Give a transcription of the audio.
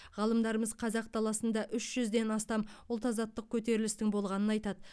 ғалымдарымыз қазақ даласында үш жүзден астам ұлт азаттық көтерілісінің болғанын айтады